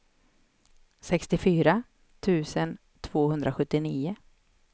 sextiofyra tusen tvåhundrasjuttionio